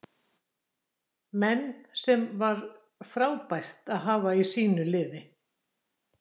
Menn sem var frábært að hafa í sínu liði.